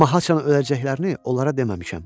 Amma haçan öləcəklərini onlara deməmişəm.